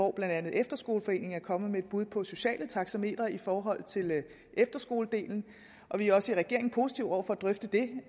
er blandt andet efterskoleforeningen kommet med et bud på sociale taxametre i forhold til efterskoledelen vi er også i regeringen positive over for at drøfte det